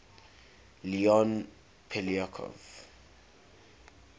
leon poliakov